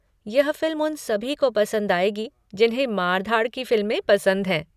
यह फिल्म उन सभी को पसंद आएगी जिन्हें मार धाड़ की फिल्में पसंद हैं।